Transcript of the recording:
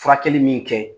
Furakɛli min kɛ